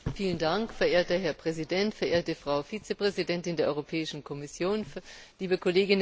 Herr Präsident, verehrte Frau Vizepräsidentin der Europäischen Kommission, liebe Kolleginnen, liebe Kollegen!